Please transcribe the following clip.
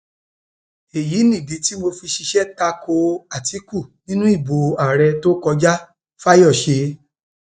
èyí nìdí tí mo fi ṣiṣẹ ta ko àtikukù nínú ìbò àárẹ tó kọjá fayesi